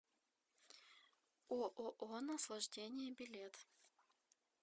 ооо наслаждение билет